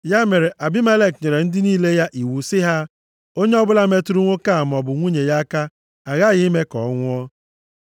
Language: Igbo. Ya mere, Abimelek nyere ndị niile ya iwu, sị ha, “Onye ọbụla metụrụ nwoke a maọbụ nwunye ya aka, aghaghị ime ka ọ nwụọ.”